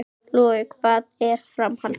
Logi: Hvað með framhaldið?